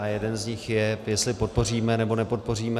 A jeden z nich je, jestli podpoříme, nebo nepodpoříme.